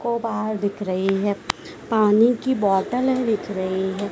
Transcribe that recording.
को बाहर दिख रही है पानी की बॉटले दिख रही है।